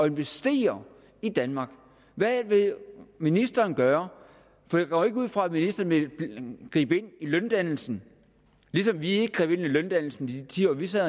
investere i danmark hvad vil ministeren gøre for jeg går jo ikke ud fra at ministeren vil gribe ind i løndannelsen ligesom vi ikke greb ind i løndannelsen i de ti år vi sad